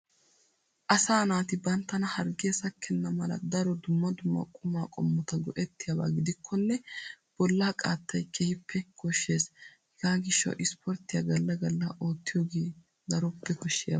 Asa naati banttana hargge sakkena mala daro dumma dumma quma qomota go"ettiyabba giddikkonne bolla qaatay keehippe koshshees. Hega giishawu Ispporttiya galla galla ottiyooge daroppe koshshiyabba.